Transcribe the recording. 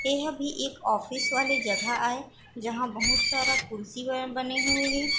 एह भी एक ऑफिस वाले जगह आय जहाँ बहुत सारा कुर्सी होए बने हुए हे।